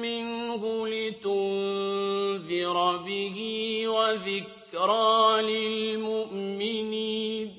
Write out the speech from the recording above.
مِّنْهُ لِتُنذِرَ بِهِ وَذِكْرَىٰ لِلْمُؤْمِنِينَ